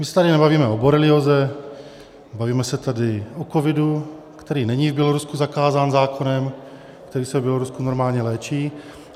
My se tady nebavíme o borelióze, bavíme se tady o covidu, který není v Bělorusku zakázán zákonem, který se v Bělorusku normálně léčí.